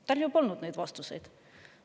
Tal ju polnud neid vastuseid!